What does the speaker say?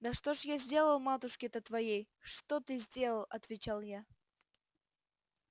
да что ж я сделал матушке-то твоей что ты сделал отвечал я